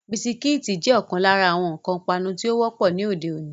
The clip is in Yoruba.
Bisikíìtì jẹ́ ọ̀kan lára àwọn nǹkan ipanu tí ó wọ́pọ̀ ní òde-òní.